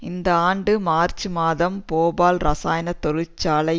இந்த ஆண்டு மார்ச் மாதம் போபால் இரசாயன தொழிற்சாலை